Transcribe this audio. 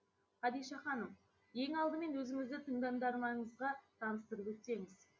хадиша ханым ең алдымен өзіңізді тыңдармандарыңызға таныстырып өтсеңіз